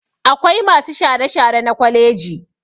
Akwai masu share-share na kwaleji